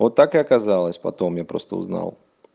вот так и оказалось потом я просто узнал